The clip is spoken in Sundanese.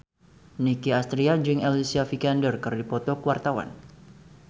Nicky Astria jeung Alicia Vikander keur dipoto ku wartawan